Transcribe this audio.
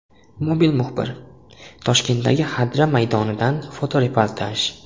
Mobil muxbir: Toshkentdagi Xadra maydonidan fotoreportaj.